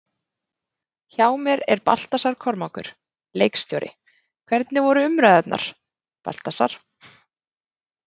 Hjá mér er Baltasar Kormákur, leikstjóri, hvernig voru umræðurnar, Baltasar?